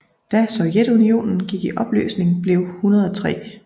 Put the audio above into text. Da Sovjetunionen gik i opløsning blev 103